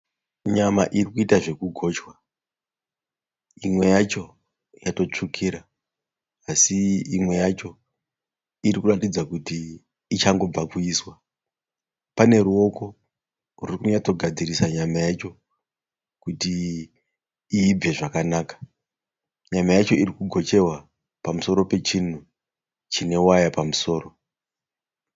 Nyama iri kuitwa zvekugochwa. Imwe yacho yatotsvukira . Asi imwe yacho iri kuratidza kuti ichangobva kuiswa. Pane ruoko ruri kunyatsogadzirisa nyama yacho kuti iibve zvakanaka. Nyama yacho iri kugocherwa pamusoro pe chinhu chine waya pamusoro.